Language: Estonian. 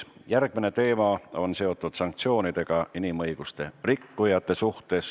Järgmine teema on seotud sanktsioonidega inimõiguste rikkujate vastu.